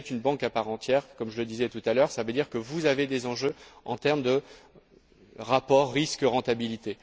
Vous êtes une banque à part entière comme je le disais tout à l'heure cela veut dire que vous avez des enjeux en termes de rapport risque rentabilité.